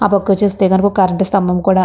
ఆపక్క చూస్తే గనక ఒక్క కరెంటు స్థంభం కూడా --